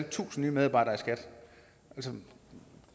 tusind nye medarbejdere i skat